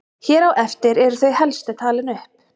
Hér á eftir eru þau helstu talin upp.